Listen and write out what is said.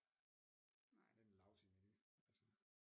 Det er da en lousy menu altså